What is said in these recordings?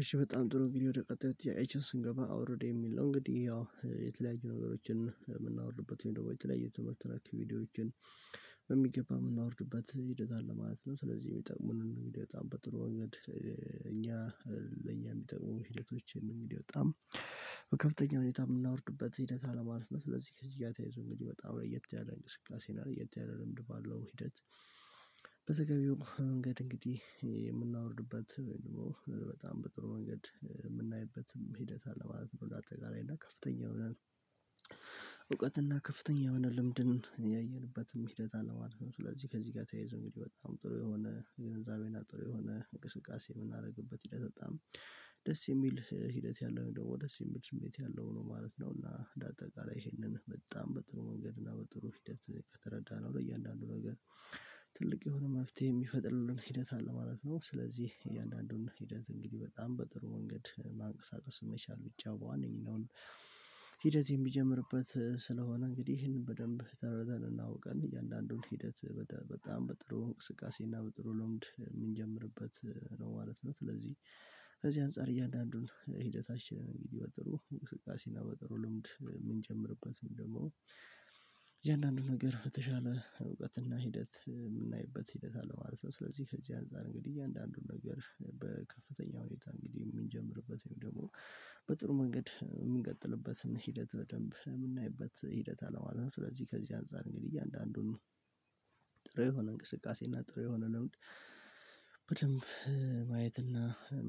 እሺ በጣም ጥሩ እንግዲህ ወደ ቀጣዩ ጥያቄያችን ስንገባ አውርድ የሚል ነው እንግዲህ ያው የተለያዩ ነገሮችን የምናወርድበት ደግሞ የተለያዩ ትምህርት ነክ ቪድዮዎችን በሚገባ የምናወርድበት ሂደት አለ ማለት ነው። ስለዚህ የሚጠቅሙንን እንግዲህ በጣም በጥሩ ወንገድ እኛ ለእኛ የሚጠቅሙ ሂደቶችን እንግዲህ በጣም በከፍተኛ ሁኔታ የምናወርድበት ሂደት አለ ማለት ነው። ስለዚህ ከዚህ ጋር ተያይዞ እንግዲህ በጣም ላይ የት ያለ እንቅስቃሴ እና ለየት ያለ ልምድ ባለው ሂደት። በተገቢው መንገድ እንግዲህ የምናወርድበት ደግሞ በጣም በጥሩ መንገድ የምናይበትም ሂደት አለ ማለት ነው። እንደ አጠቃላይ እና ከፍተኛ የሆነ እውቀት እና ከፍተኛ የሆነ ልምድን ያየንበትም ሂደት አለ። ማለት ስለዚህ ከዚህ ጋ ተያይዞ እንግዲህ በጣም ጥሩ የሆነ ግንዛቤና ጥሩ የሆነ እንቅስቃሴ የምናደርግበት ሂደት በጣም ደስ የሚል ሂደት ያለው ወይም ደግሞ ደስ የሚል ስሜት ያለው ነው ማለት ነው። እና እንደ አጠቃላይ ይሄንን በጣም በጥሩ መንገድ እና በጥሩ ሂደት ከተረዳነው ለእያንዳንዱ ነገር ትልቅ የሆነ መፍትሄ የሚፈጥርልን ሂደት አለ ማለት ነው። ስለዚህ እያንዳንዱን ሂደት እንግዲህ በጣም በጥሩ ወንገድ ማንቀሳቀስ መቻል ብቻ በዋነኝነ ሂደት የሚጀምርበት ስለሆነ እንግዲህ ይሄንን በደንብ ተረድተን እና አውቀን እያንዳንዱን ሂደት በጣም በጥሩ እንቅስቃሴ እና በጥሩ ልምድ የምንጀምርበት ነው ማለት ነው። ስለዚህ ከዚህ አንፃር እያንዳንዱን ሂደታችንን እንግዲህ በጥሩ እንቅስቃሴና በጥሩ ልምድ የምንጀምርበት ወይም ደግሞ የእያንዳንዱ ነገር የተሻለ እውቀትና ሂደት የምናይበት ሂደት አለ ማለት ነው። ስለዚህ ከዚህ አንፃር እንግዲህ እያንዳንዱን ነገር በከፍተኛ ሁኔታ እንግዲህ የምንጀምርበት ወይም ደግሞ በጥሩ መንገድ የምንቀጥልበትን ሂደት በደንብ የምናይበት ሂደት አለ ማለት አለው። ስለዚህ ከዚህ አንፃር እንግዲህ እያንዳንዱን ጥሩ የሆነ እንቅስቃሴ እና ጥሩ የሆነ ልምድ በደንብ ማየት እና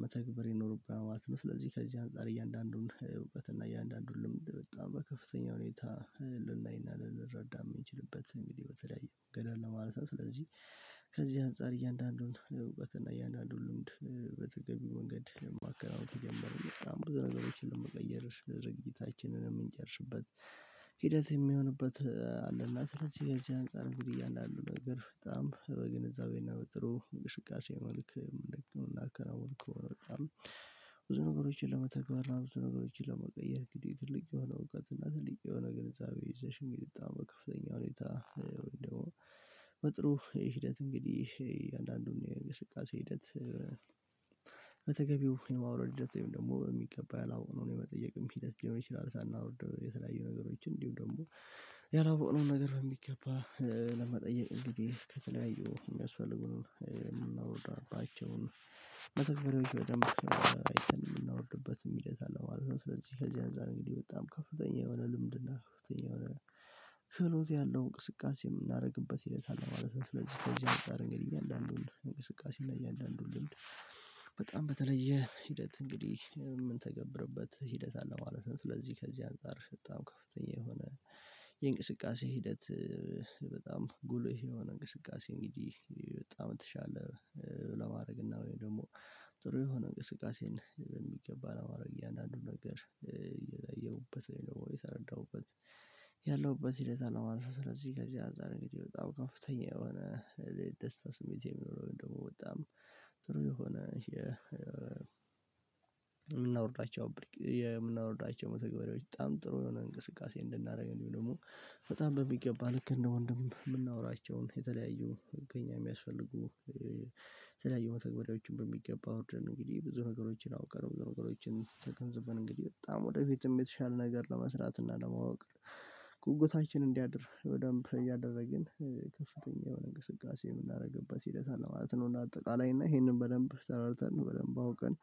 መተግበር ይኖርብሃል ማለት ነው። ስለዚህ ከዚህ አንፃር እያንዳንዱን እውቀትና የአንዳንዱን ልምድ በጣም በከፍተኛ ሁኔታ ልናይና ልረዳም ምንችልበት እንግዲህ በተለያየ መንገድ አለ ማለት ነው። ስለዚህ ከዚህ አንፃር እያንዳንዱን እውቀት እና እያንዳንዱን ልምድ በተገቢው መንገድ የማከናውን ብዙ ነገሮችን ለመቀየር ስነ ድርጊታችንንም የምንጨርስበት ሂደት የሚሆንበት አለ። እና ስለዚህ ከዚህ አንፃር እንግዲህ እያሉ ነገር በጣም በግንዛቤና በጥሩ እንቅስቃሴ መልክ መልእክት ምናከናውን ከሆነ በጣም ብዙ ነገሮችን ለመተግበርና ብዙ ነገሮችን ለመቀየር እንግዲህ ትልቅ የሆነ እውቀት እና ትልቅ የሆነ ግንዛቤ ይዘሽ እንግዲህ በጣም ከፍተኛ ሁኔታ ወይም ደግሞ በጥሩ ሂደት እንግዲህ እያንዳንዱን የእንቅስቃሴ ሂደት በተገቢው የማውረድ ሂደት ወይም ደግሞ በሚገባ ያላወቅነውን የመጠየቅም ሂደት ሊሆን ይችላል። ሳናወርድ የተለያዩ ነገሮችን እንዲሁም ደግሞ ያላወቀውን ነገር የሚገባ ለመጠየቅ እንግዲህ ከተለያዩ የሚያስፈልጉን የምናወርዳባቸውን መተግበሪያዎች በደንብ አይተን የምናወርድበትም ሂደት አለ ማለት ነው። ስለዚህ ከዚህ አንፃር እንግዲህ በጣም ከፍተኛ የሆነ ልምድና ከፍተኛ የሆነ ክህሎት ያለው እንቅስቃሴ የምናደርግበት ሂደት አለ ማለት ነው። ስለዚህ ከዚህ አንፃር እንግዲህ እያንዳንዱን እንቅስቃሴና እያንዳንዱን ልምድ በጣም በተለየ ሂደት እንግዲህ የምንተገብርበት ሂደት አለ ማለት ነው። ስለዚህ ከዚህ አንፃር በጣም ከፍተኛ የሆነ የእንቅስቃሴ ሂደት በጣም ጉልህ የሆነ እንቅስቃሴ እንግዲህ በጣም የተሻለ ለማረግ እና ወይም ደግሞ ጥሩ የሆነ እንቅስቃሴን በሚገባ ለማድረግ እያንዳንዱን ነገር እያየሁበት ያለው እየተረዳሁበት ያለውበት ሂደት አለ ነው ማለት ነው። ስለዚህ ከዚህ አንፃር እንግዲህ በጣም ከፍተኛ የሆነ የደስታ ስሜት የሚኖረው ወይም ደግሞ በጣም ጥሩ የሆነ የምናወርዳቸው የምናወርዳቸው መተግበሪዎች በጣም ጥሩ የሆነ እንቅስቃሴ እንድናደርግ እንዲሁም ደግሞ በጣም በሚገባ ልክ እንደ ወንድም የምናወራቸውን የተለያዩ ከኛ የሚያስፈልጉ የተለያዩ መተግበሪያዎችን በሚገባ አውርደን እንግዲህ ብዙ ነገሮችን አውቀን ነገሮችን ተገንዝበን እንግዲህ በጣም ወደፊትም የተሻለ ነገር ለመስራት እና ለማወቅ ጉጉታችን እንዲያድር በደንብ እያደረግን ከፍተኛ የሆነ እንቅስቃሴ የምናደርግበት ሂደት አለ ማለት ነው። እና አጠቃላይ እና ይሄንን በደንብ ተረድተን በደንብ አውቀን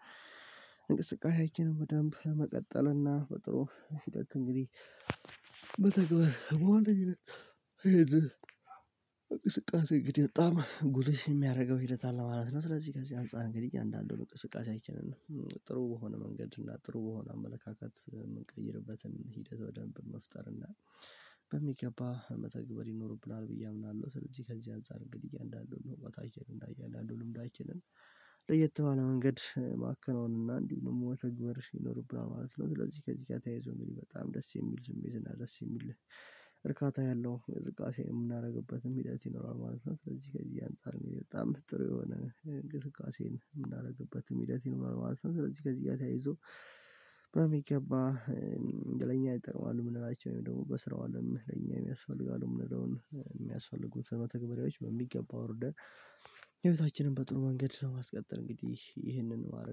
እንቅስቃሴያችንን በደንብ ለመቀጠልና እና በጥሩ ሂደት እንግዲህ በተግባር በዋነኝነት ይሄን እንቅስቃሴ እንግዲህ በጣም ጉልሽ የሚያደርገው ሂደት አለ ማለት ነው። ስለዚህ ከዚህ አንፃር እንግዲህ እያንዳንዱን እንቅስቃሴያችንን ጥሩ በሆነ መንገድ እና ጥሩ በሆነ አመለካከት የምንቀይርበትን ሂደት በደንብ መፍጠር እና በሚገባ መተግበር ይኖርብናል ብዬ አምናለሁ። ስለዚህ ከዚህ አንፃር እንግዲህ እያንዳንዱን ቦታችን እና እያንዳንዱን ልምዳችንን ለየት ባለ መንገድ ማከናወንና እንዲሁም ደግሞ መተግበር ይኖርብናል ማለት ነው። ስለዚህ ከዚህ ጋር ተያይዞ እንግዲህ በጣም ደስ የሚል ስሜቴና ደስ የሚል እርካታ ያለው እንቅስቃሴ የምናደርግበትም ሂደት ይኖራል ማለት ነው። ስለዚህ ከዚህ አንፃር በጣም ጥሩ የሆነ እንቅስቃሴን ምናረግበትም ሂደት ይኖራል ማለት ነው። ስለዚህ ከዚህ ጋር ተያይዞ በሚገባ ለኛ ይጠቅማሉ የምንላቸው ወይም ደግሞ በስራው አለን ለኛ የሚያስፈልጋሉ የምንለውን የሚያስፈልጉን መተግበሪያዎች በሚገባ አውርደን ህይወታችንን በጥሩ መንገድ በማስቀጠል እንግዲህ ይህንን ማረግ